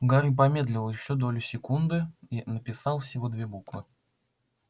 гарри помедлил ещё долю секунды и написал всего две буквы